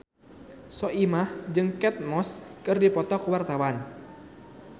Soimah jeung Kate Moss keur dipoto ku wartawan